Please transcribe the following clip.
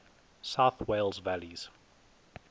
south wales valleys